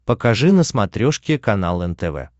покажи на смотрешке канал нтв